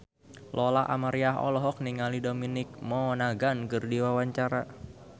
Lola Amaria olohok ningali Dominic Monaghan keur diwawancara